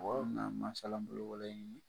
O yɔrɔ min na masalabolo wɛrɛ ɲini